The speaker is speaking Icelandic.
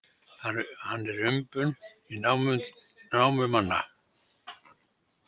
Hann er umbun námumannanna.